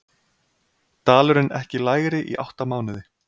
Dalurinn ekki lægri í átta mánuði